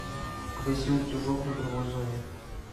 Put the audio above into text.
погаси утюжок в игровой зоне